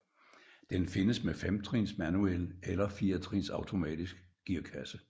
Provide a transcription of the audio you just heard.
Den findes med femtrins manuel eller firetrins automatisk gearkasse